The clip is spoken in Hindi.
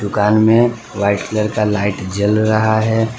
दुकान में वाइट कलर का लाइट जल रहा है।